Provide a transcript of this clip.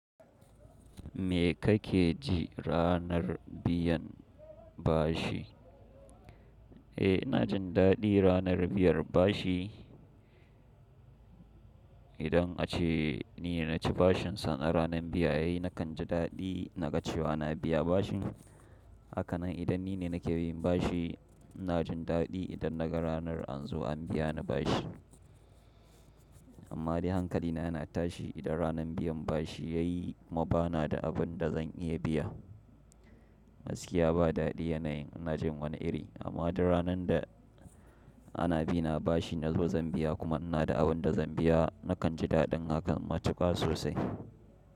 Me kake ji ranar biyan bashi? Eh, na jin daɗi ranar biyar bashi. Idan ace ni ne na ci bashinsa na ranar biyayye, na kan ji daɗi na ga cewa na biya bashi. Hakanan idan ni ne nake bin bashi, ina jin daɗi idan naga ranar an zo an biya ni bashi. Amma dai hankalina yana tashi idan ranar biyan bashi ya yi kuma ba na da abin da zan iya biya. Gaski ya ba daɗi yanayin na jin wani iri, amma duk ranar da ana bi na bashi na zo zan biya kuma ina da abun da zan biya, na kan ji daɗin hakan matuƙa sosai.